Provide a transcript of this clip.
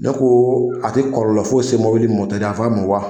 Dɔnku a tɛ kɔlɔlɔ foyi se mobili mɔtɛi yan fan ma wa?